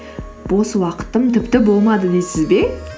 бос уақытым тіпті болмады дейсіз бе